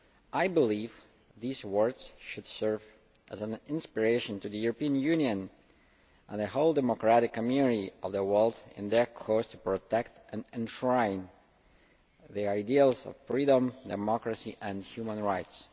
I believe these words should serve as an inspiration to the European Union and the whole democratic community of the world in their course to protect and enshrine the ideals of freedom, democracy and human rights.